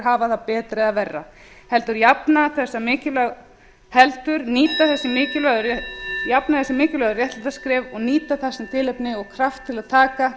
hafa það betra eða verra heldur jafna þessi mikilvægu réttindaskref og nýta þessi tilefni og kraft til að taka